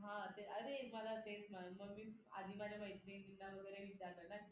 अरे मला तेच ना आधी माझ्या मैत्रिणींना वगैरे विचारल ना की